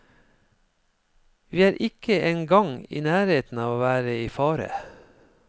Vi er ikke en gang i nærheten av å være i fare.